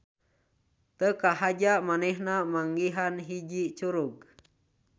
Teu kahaja manehna manggihan hiji curug.